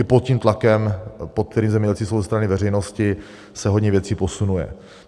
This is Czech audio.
I pod tím tlakem, pod kterým zemědělci jsou ze strany veřejnosti, se hodně věcí posunuje.